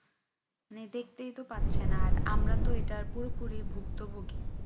দেখতেই তো পাচ্ছেন আর আমরা তো এটার পুরোপুরি ভুক্ত ভুগি